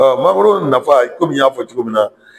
mangoro nafa kɔmi n y'a fɔ cogo min na.